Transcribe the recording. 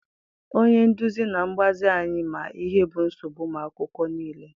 Onye nduzi na mgbazi anyị ma ihe bụ nsogbu ụmụ akwụkwọ niile.